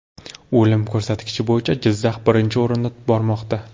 O‘lim ko‘rsatkichi bo‘yicha Jizzax birinchi o‘rinda bormoqda.